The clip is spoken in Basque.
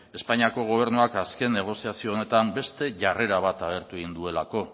espainiako gobernuak azken negoziazio honetan beste jarrera bat agertu egin duelako